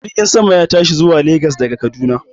Jirgin sama ya tashi zuwa Lagas daga Kaduna